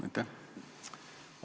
Aitäh!